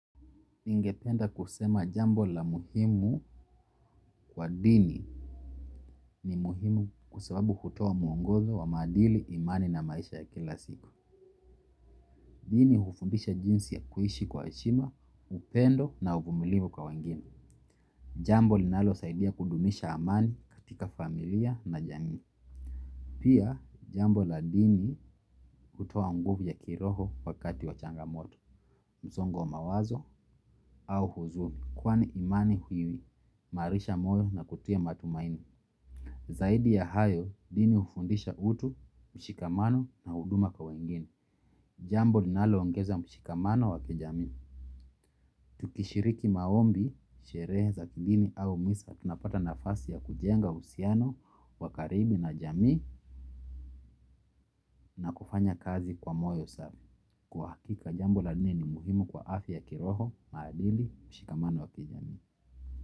Ningependa kusema jambo la muhimu kwa dini ni muhimu kwababu hutoa muongozo wa madili, imani na maisha ya kila siku. Dini hufundisha jinsi ya kuishi kwa heshima, upendo na uvumilivu kwa wengine. Jambo linalosaidia kudumisha amani katika familia na jamii. Pia jambo la dini hutoa nguvu ya kiroho wakati wa changamoto, msongo wa mawazo au huzuni. Kwani imani huimarisha moyo na kutia matumaini. Zaidi ya hayo, dini hufundisha utu, mshikamano na huduma kwa wengine. Jambo linaloongeza mshikamano wakijamii tukishiriki maombi, sherehe za kidini au misa tunapata nafasi ya kujenga uhusiano, wakaribu na jamii. Na kufanya kazi kwa moyo safi. Kwa hakika jambo la dini ni muhimu kwa afya ya kiroho, madili, mshikamano wakijami.